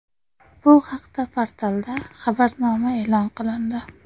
Bu haqda portalda xabarnoma e’lon qilindi.